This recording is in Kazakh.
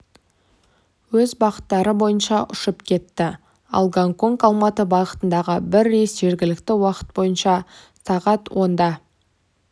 өз бағыттары бойынша ұшып кетті ал гонконг-алматы бағытындағы бір рейс жергілікті уақыт бойынша сағат онда